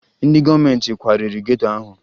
Ndị gọọmenti kwariri geto ahụ